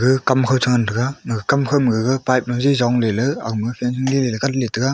gag kamkho che ngantaga gag kamkhau ma gag pipe jaji zongley ley agma fencing leyley gatley taiga.